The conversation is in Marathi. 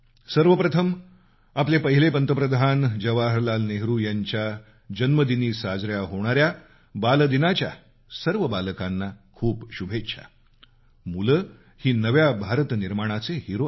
सर्वप्रथम आपले पहिले पंतप्रधान जवाहरलाल नेहरू यांच्या जन्मदिनी साजरा होणाऱ्या बालदिनाच्या सर्व बालकांना खूप शुभेच्छा मुलं ही नव्या भारत निर्माणाचे हिरो आहेत